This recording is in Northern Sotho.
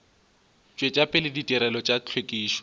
tšwetša pele ditirelo tša hlwekišo